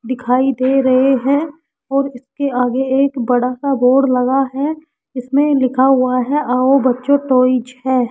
दिखाई दे रहे हैं और इसके आगे एक बड़ा सा बोर्ड लगा है इसमें लिखा हुआ है आओ बच्चों ट्वॉयज है।